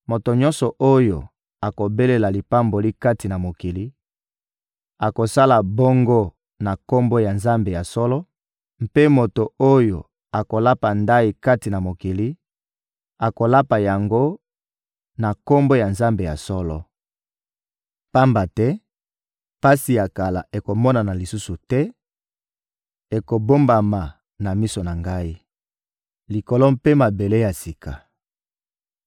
Moto nyonso oyo akobelela lipamboli kati na mokili akosala bongo na Kombo ya Nzambe ya solo, mpe moto oyo akolapa ndayi kati na mokili, akolapa yango na Kombo ya Nzambe ya solo. Pamba te pasi ya kala ekomonana lisusu te, ekobombama na miso na Ngai. Likolo mpe mabele ya sika